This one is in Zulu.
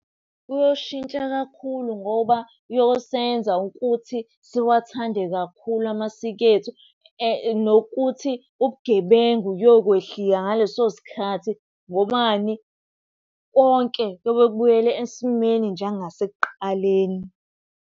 Kuyoshintsha kakhulu ngoba uyosebenza ukuthi siwathande kakhulu amasiko ethu, nokuthi ubugebengu kuyokwehlika ngaleso sikhathi. Ngobani? Konke kuyobe kubuyele esimeni njenga sekuqaleni.